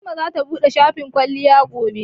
Fatima zata buɗe shafin kwalliya gobe.